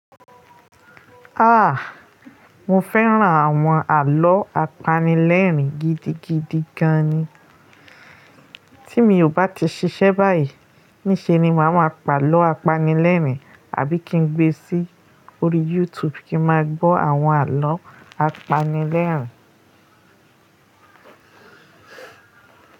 Áà, mo fẹ́ràn àwọn àlọ́ apanilẹ́rìn gidi gidi gan ni. Tí mi ò bá ti ṣiṣẹ́ báyìí, níṣe ni màá máa pàlọ́ apanilẹ́rìn àbí kí n gbé sí orí YouTube kí n máa gbọ́ àwọn àlọ́ apanilẹ́rìn.